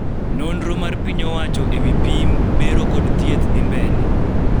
nonro mar piny owacho e wii pim, bero, kod thieth dhii mbele